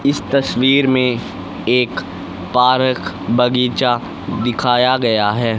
इस तस्वीर में एक पारक बगीचा दिखाया गया है।